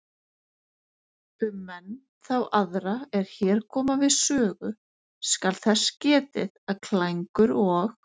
Um menn þá aðra er hér koma við sögu skal þess getið að Klængur og